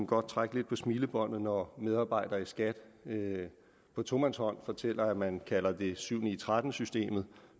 godt trække lidt på smilebåndet når medarbejdere i skat på tomandshånd fortæller at man kalder det syv ni tretten systemet